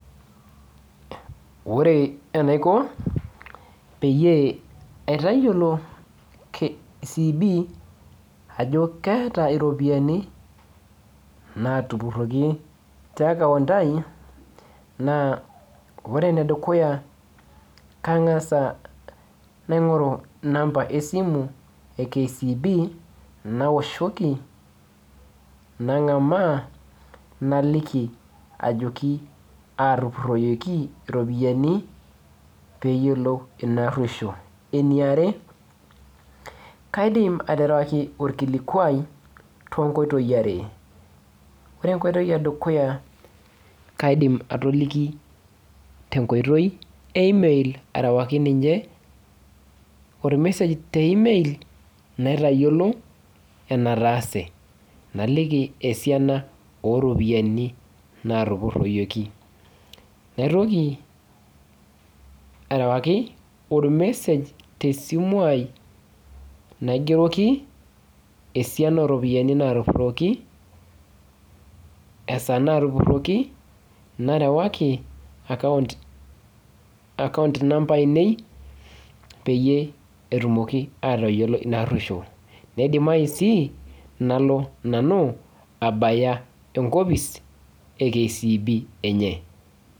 Ore enaiko peyie aitayiolo CB,ajo keeta iropiyiani natupurroki te akaunt ai, naa ore enedukuya kang'asa naing'oru inamba esimu e KCB, nawoshoki nang'amaa naliki ajoki atupurroyieki iropiyiani peyiolou inaarruoshuo. Eniare, aterewaki orkilikwai tonkoitoii are. Ore enkoitoi edukuya kaidim atoliki tenkoitoi e email arewaki ninche, ormesej te email, naitayiolo enataase. Naliki esiana oropiyiani natupurroyioki. Naitoki arewaki ormesej tesimu ai, najoki esiana oropiyiani natupurroki, esaa natupurroki, narewaki akaunt number ainei, peyie etumoki atayiolo inaarruoshuo. Neidimayu si, nalo nanu abaya enkopis e KCB enye.